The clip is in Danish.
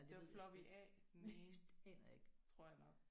Det var floppy A den ene tror jeg nok